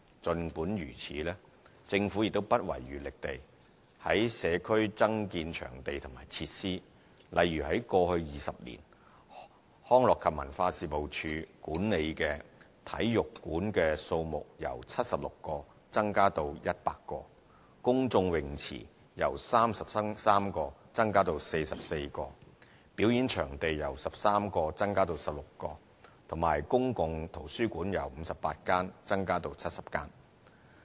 儘管如此，政府亦不遺餘力地在社區增建場地及設施，例如在過去20年，康樂及文化事務署管理的體育館數目由76個增加至100個、公眾泳池由33個增加至44個、表演場地由13個增加至16個及公共圖書館由58間增加至70間。